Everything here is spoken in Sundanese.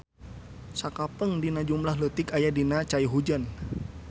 Sakapeung dina jumlah leutik aya dina cai hujan.